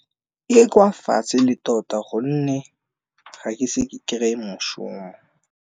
E kwa fatshe e le tota gonne ga ke se ke kry-e moshomo.